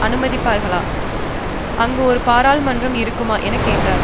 அனுமதிப்பார்களா அங்கு ஒரு பாராளுமன்றம் இருக்குமா என கேட்டார்